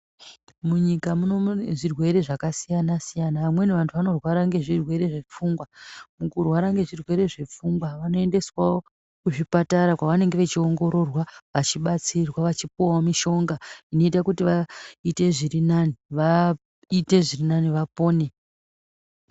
Munyika muno mune zvirwere zvakasiyana siyana amweni antu anorwara ngezvirwere zvepfungwa mukurwara ngezvirwere zvepfungwa vanoendeswawo kuzvipatara kwavanenge vachiongororwa vachibatsirwa vachipuwa mushonga inoita kuti vaite zvirinani vapone.